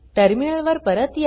terminal वर परत या